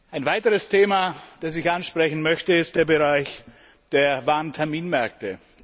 Ein weiteres Thema, das ich ansprechen möchte, ist der Bereich der Warenterminmärkte.